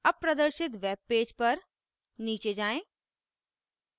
अब प्रदर्शित वेबपेज पर नीचे जाएँ